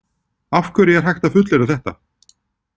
Af hverju er hægt að fullyrða þetta?